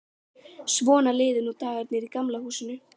Svona liðu nú dagarnir í Gamla húsinu.